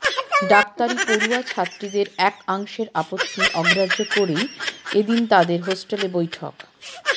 ডাক্তারি পড়ুয়া ছাত্রীদের একাংশের আপত্তি অগ্রাহ্য করেই এদিন তাঁদের হস্টেলে বৈঠক